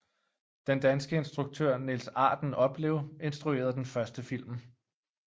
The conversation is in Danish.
Den danske instruktør Niels Arden Oplev instruerede den første film